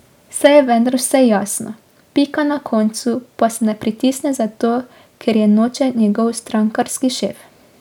Saj je vendar vse jasno, pika na koncu pa se ne pritisne zato, ker je noče njegov strankarski šef.